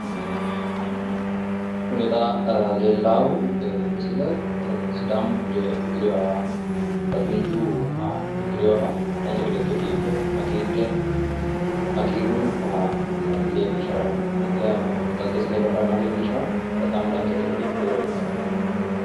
Kuni xa leellaahu misile sidaamu bude uddiriwoha dagunchu uddiriwoha dancha gede ikke biife hagiidhe hagiirru leellishara galtesi ledo haranna leellishawo. Bexaami dancha gede biiffiworeeti.